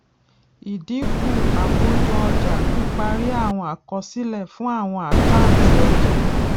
ìdínkù àkójọ ọjà píparí àwọn àkọsílẹ fún àwọn àkáǹtì ọjà